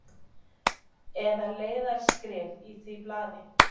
Eða leiðaraskrif í því blaði?